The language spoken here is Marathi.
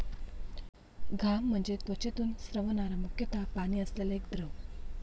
घाम म्हणजे त्वचेतून स्रवणारा मुख्यतः पाणी असलेला एक द्रव.